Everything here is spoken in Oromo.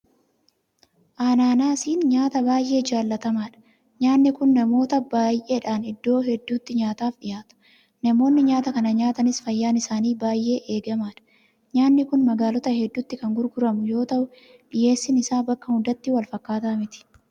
Anaanaasiin nyaata baay'ee jaalatamaadha. Nyaanni kun namoota baay'eedhaan iddoo hedduutti nyaataaf dhiyaata. Namoonni nyaata kana nyaatanis fayyaan isaanii baay'ee eegamaadha. Nyaanni kun magaalota hedduutti kan gurguramu yoota'u dhiyeessiin isaa bakka hundatti walfakkaataa miti.